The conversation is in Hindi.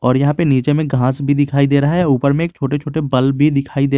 और यहां पे नीचे में घास भी दिखाई दे रहा है ऊपर में एक छोटे छोटे बल्ब भी दिखाई दे--